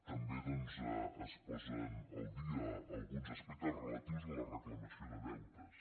també doncs es posen al dia alguns aspectes relatius a la reclamació de deutes